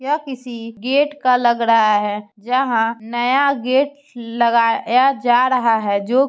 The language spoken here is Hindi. यह किसी गेट का लग रहा है जहाँ नया गेट लगाया जा रहा है जो --